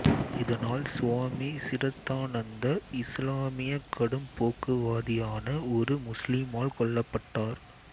இதனால் சுவாமி சிரத்தானந்தர் இசுலாமிய கடும்போக்குவாதியான ஒரு முஸ்லீமால் கொல்லப்பட்டார்